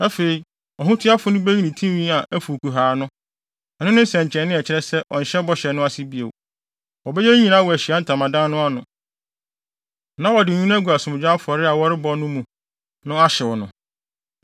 “Afei, ɔhotuafo no beyi ne tinwi a afuw kuhaa no; ɛno ne nsɛnkyerɛnne a ɛkyerɛ sɛ ɔnhyɛ bɔhyɛ no ase bio. Wɔbɛyɛ eyi wɔ Ahyiae Ntamadan no ano, na wɔde nwi no agu asomdwoe afɔre a wɔrebɔ no wɔ gya mu no ahyew no.